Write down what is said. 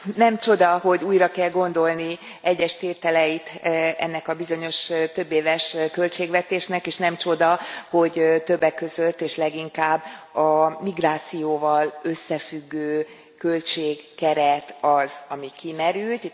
nem csoda, hogy újra kell gondolni egyes tételeit ennek a bizonyos többéves költségvetésnek, és nem csoda, hogy többek között, és leginkább a migrációval összefüggő költségkeret az, ami kimerült.